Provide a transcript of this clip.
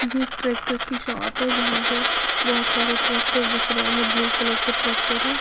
ये ट्रैक्टर की शॉप है जहां पर बहुत सारे ट्रैक्टर दिख रहे हैं ब्लू कलर के ट्रैक्टर है।